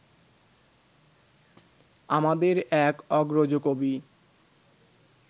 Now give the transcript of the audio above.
আমাদের এক অগ্রজ কবি